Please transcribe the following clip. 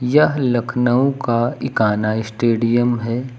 यह लखनऊ का इकाना स्टेडियम है।